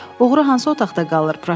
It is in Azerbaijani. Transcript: Oğru hansı otaqda qalır?